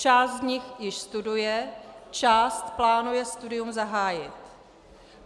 Část z nich již studuje, část plánuje studium zahájit.